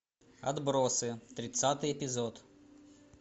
отбросы тридцатый эпизод